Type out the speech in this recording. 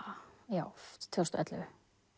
já tvö þúsund og ellefu